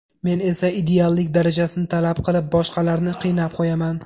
Men esa ideallik darajasini talab qilib boshqalarni qiynab qo‘yaman.